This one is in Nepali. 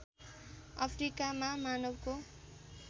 अफ्रिकामा मानवको